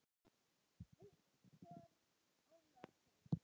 Viktor Ólason.